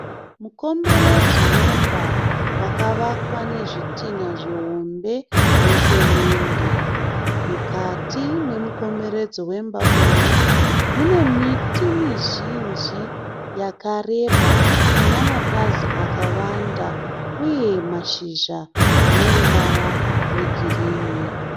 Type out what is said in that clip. Mukomberedzo wemba wakavakwa nezvitinha zvihombe nesemende. Mukati memukomberedzo wemba uyu mune miti mizhinji yakareba ine mapazi akawanda uye mashizha ane ruvara rwegirinhi.